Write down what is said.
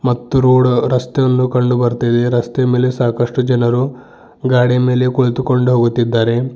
ಮತ್ತು ರೋಡ ರಸ್ತೆಗಳು ಕಂಡು ಬರ್ತಾ ಇದೆ ರಸ್ತೆಯ ಮೇಲೆ ಸಾಕಷ್ಟು ಜನರು ಗಾಡಿಯ ಕುಳಿತುಕೊಂಡು ಹೋಗುತ್ತಿದ್ದಾರೆ.